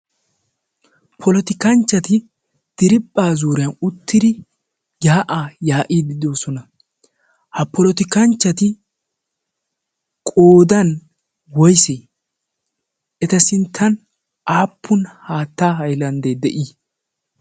poloti kanchchati diribphaa zuuriyan uttidi yaa'aa yaa'iididoosona. ha polotikanchchati qodan woysi eta sinttan aappun haatta hailanddee de'ii?